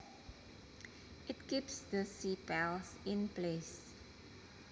It keeps the sepals in place